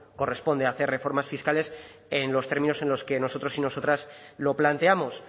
corresponde hacer reformas fiscales en los términos en los que nosotros y nosotras lo planteamos